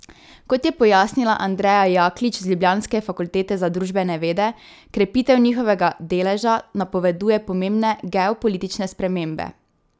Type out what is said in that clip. Kot je pojasnila Andreja Jaklič z ljubljanske fakultete za družbene vede, krepitev njihovega deleža napoveduje pomembne geopolitične spremembe.